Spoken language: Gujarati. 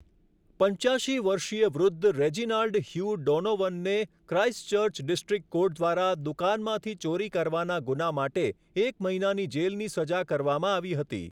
પંચ્યાશી વર્ષીય વૃદ્ધ રેજિનાલ્ડ હ્યુ ડોનોવનને ક્રાઈસ્ટચર્ચ ડિસ્ટ્રિક્ટ કોર્ટ દ્વારા દુકાનમાંથી ચોરી કરવાના ગુના માટે એક મહિનાની જેલની સજા કરવામાં આવી હતી.